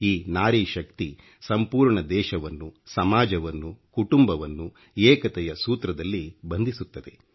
ಈ ನಾರಿ ಶಕ್ತಿ ಸಂಪೂರ್ಣ ದೇಶವನ್ನು ಸಮಾಜವನ್ನು ಕುಟುಂಬವನ್ನು ಏಕತೆಯ ಸೂತ್ರದಲ್ಲಿ ಬಂಧಿಸುತ್ತದೆ